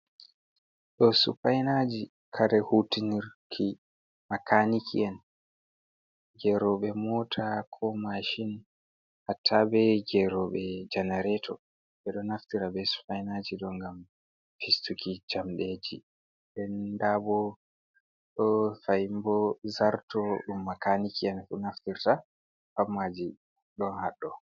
Ɗoo Supainaji, kare hutinirki makaniki'en. Geroɓe mota ko mashin, hatta be geroɓe janareto ɓeɗo naftira be Supainaji ɗo ngam fistuki jamɗeji. Nden ndabo ɗo fahinbo zarto ɗum makaniki'en ɗo naftirta patmaji ɗon hadɗo.